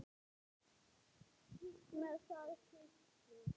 Skítt með það hyski.